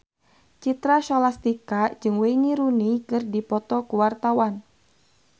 Citra Scholastika jeung Wayne Rooney keur dipoto ku wartawan